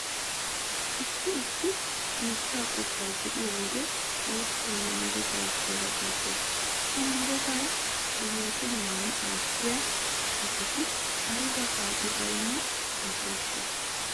Issi issi biittaa qottaa be'iyo wode xoossoo ne meretawu hoola giissees. Ha meretata xomoosennan attiya asati ayba qaadi baynna aseeshsha!